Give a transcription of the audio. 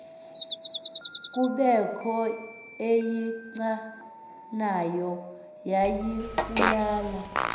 kubekho eyichanayo yayibulala